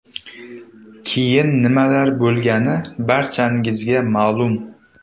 Keyin nimalar bo‘lgani barchangizga ma’lum.